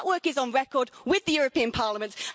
That work is on record with the European Parliament.